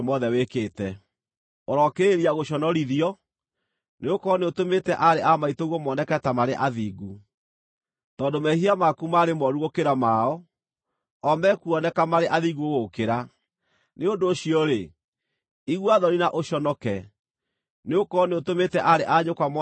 Ũrokĩrĩrĩria gũconorithio, nĩgũkorwo nĩũtũmĩte aarĩ a maitũguo moneke ta marĩ athingu. Tondũ mehia maku maarĩ mooru gũkĩra mao, o mekuoneka marĩ athingu gũgũkĩra. Nĩ ũndũ ũcio-rĩ, igua thoni na ũconoke, nĩgũkorwo nĩũtũmĩte aarĩ a nyũkwa moneke marĩ athingu.